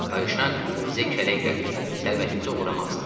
Kayşank bizə kələk gəlmək, sərvətimizi oğurlamaq istəyir.